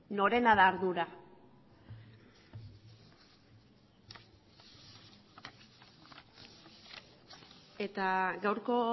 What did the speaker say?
norena da ardura eta gaurko